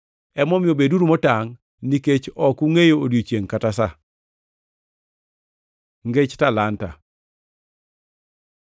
“Emomiyo beduru motangʼ, nikech ok ungʼeyo odiechiengʼ kata sa. Ngech talanta